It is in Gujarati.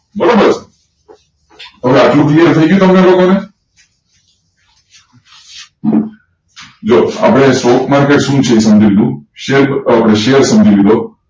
બરોબર હવે આટલું clear થાયઇગયું તમને લોકો ને જો આપડે stock market સુ છે એ સમજી લીધું શેર આપડે શેર સમજી લીધો